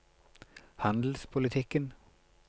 handelspolitikken